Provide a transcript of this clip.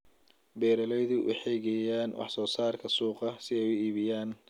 Beeraleydu waxay geeyaan wax soo saarka suuqa si ay u iibiyaan.